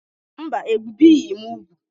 Mba, ebìghị m úgwù.